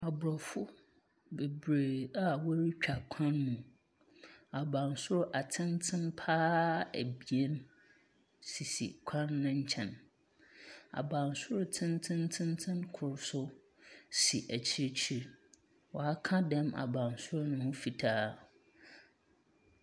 Aborɔfo bebiree a wɔretwa kwan mu. Abansoro atenten pa ara abien sisi kwan no nkyɛ. Abansoro tentententen koro so si akyirikyiri. Wɔaka dam abansoro no ho fitaa.